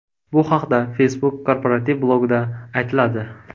Bu haqda Facebook korporativ blogida aytiladi .